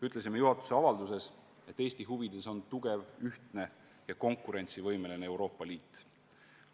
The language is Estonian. Ütlesime juhatuse avalduses, et Eesti huvides on tugev, ühtne ja konkurentsivõimeline Euroopa Liit.